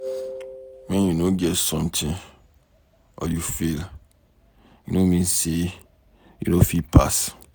wen you no get something or you fail, e no mean say you no fit pass.